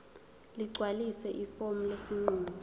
ligcwalise ifomu lesinqumo